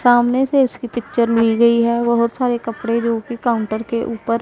सामने से इसकी पिक्चर ली गई है बहोत सारे कपड़े जोकि काउंटर के ऊपर--